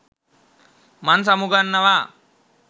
මං සමුගන්නවා